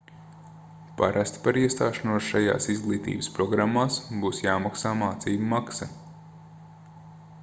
parasti par iestāšanos šajās izglītības programmās būs jāmaksā mācību maksa